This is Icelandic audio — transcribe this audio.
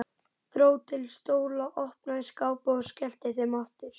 Dró til stóla, opnaði skápa og skellti þeim aftur.